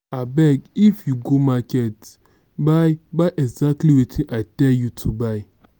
abeg if you go market buy buy exactly wetin i tell you to buy